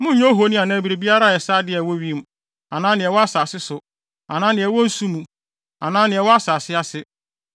Monnyɛ ohoni anaa biribiara a ɛsɛ ade a ɛwɔ wim, anaa nea ɛwɔ asase so, anaa nea ɛwɔ nsu mu, anaa nea ɛwɔ asase ase.